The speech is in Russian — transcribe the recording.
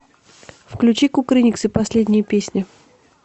включи кукрыниксы последняя песня